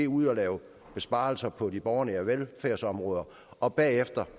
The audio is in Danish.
ud at lave besparelser på de borgernære velfærdsområder og bagefter